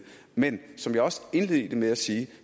men som jeg også indledte med at sige